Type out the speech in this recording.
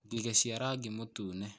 Ngigĩ cia rangi mũtune